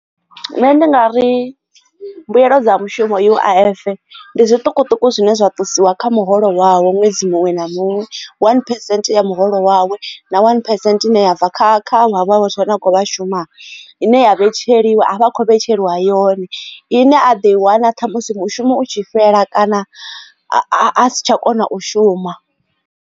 Nṋe ndi nga ri mbuyelo dza mushumo U_I_F ndi zwiṱukuṱuku zwine zwa ṱusiwa kha muholo wawe ṅwedzi muṅwe na muṅwe one percent ya muholo wawe na one percent ine ya bva kha kha havha vhathu vha ne a khou shuma ine ya vhetshelwa a vha a kho vhetshelwa yone ine a ḓo i wana ṱhamusi mushumo utshi fhela kana a si tsha kona u shuma.